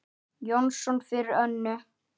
Jónsson fyrir Önnu.